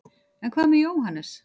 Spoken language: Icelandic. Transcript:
en hvað með jóhannes